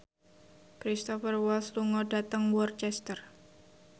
Cristhoper Waltz lunga dhateng Worcester